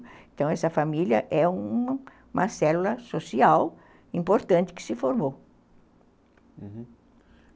Então, essa família é uma célula social importante que se formou.